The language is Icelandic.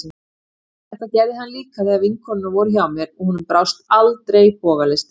Þetta gerði hann líka þegar vinkonurnar voru hjá mér, og honum brást aldrei bogalistin.